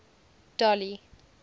dolly